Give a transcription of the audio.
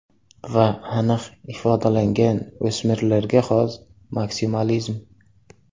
Va aniq ifodalangan o‘smirlarga xos maksimalizm!